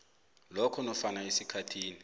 lokho nofana esikhathini